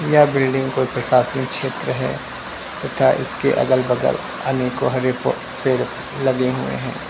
यह बिल्डिंग कोई प्रशासनिक क्षेत्र है तथा इसके अगल बगल अनेकों हरे प पेड़ लगे हुए हैं।